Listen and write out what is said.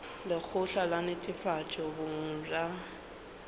lekgotla la netefatšo boleng bja